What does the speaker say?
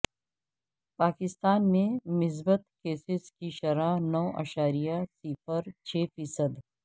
پاکستان میں مثبت کیسز کی شرح نو اعشاریہ صفر چھ فی صد